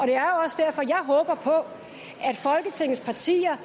det er også derfor jeg håber på at folketingets partier